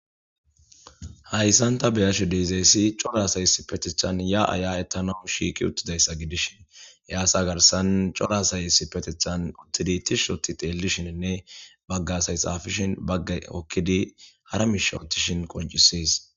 Haysan ta ba'ashe dizays cora asay ya'a ya'etanaw shiq utidaysa gidishn he asa garsan cora asay issipetetan tishot xelishinine bagot xafishn Bagay hokid hara mishe otishn qonces